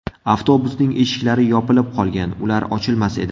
Avtobusning eshiklari yopilib qolgan, ular ochilmas edi.